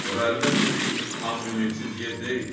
Ora əlbəttə ki, tam ümidsiz yer deyil.